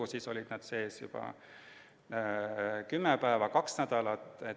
Aga siis olid nad sees juba kümme päeva, kaks nädalat.